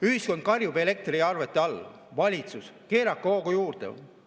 Ühiskond karjub elektriarvete all: valitsus, keerake hoogu juurde!